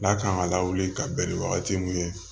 N'a kan ka lawuli ka bɛn ni wagati mun ye